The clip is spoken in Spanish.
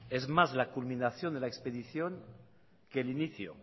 es más la culminación de la expedición que el inicio